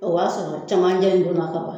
O b'a sɔrɔ camancɛ in donna ka ban